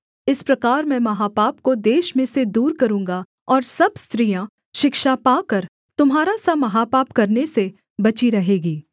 इस प्रकार मैं महापाप को देश में से दूर करूँगा और सब स्त्रियाँ शिक्षा पाकर तुम्हारा सा महापाप करने से बची रहेगी